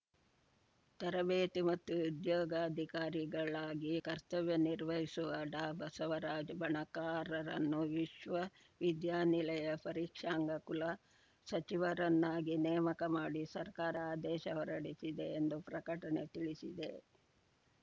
ತರಬೇತಿ ಮತ್ತು ಉದ್ಯೋಗಾಧಿಕಾರಿಗಳಾಗಿ ಕರ್ತವ್ಯ ನಿರ್ವಹಿಸುವ ಡಾಬಸವರಾಜ್ ಬಣಕಾರ್‌ರನ್ನು ವಿಶ್ವ ವಿದ್ಯಾನಿಲಯ ಪರೀಕ್ಷಾಂಗ ಕುಲ ಸಚಿವರನ್ನಾಗಿ ನೇಮಕ ಮಾಡಿ ಸರ್ಕಾರ ಆದೇಶ ಹೊರಡಿಸಿದೆ ಎಂದು ಪ್ರಕಟಣೆ ತಿಳಿಸಿದೆ